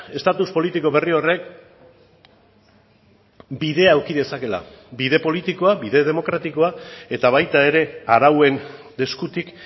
estatus politiko berri horrek bidea eduki dezakela bide politikoa bide demokratikoa eta baita ere arauen eskutik